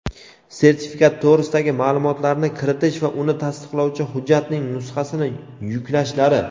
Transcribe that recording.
sertifikat to‘g‘risidagi ma’lumotlarni kiritish va uni tasdiqlovchi hujjatning nusxasini yuklashlari;.